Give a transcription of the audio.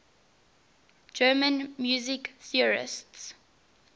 german music theorists